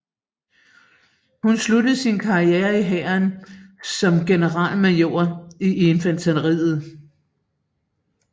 Han sluttede sin karriere i Hæren som generalmajor i infanteriet